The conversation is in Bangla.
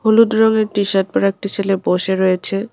হলুদ রঙের টিশার্ট পরা একটি ছেলে বসে রয়েছে।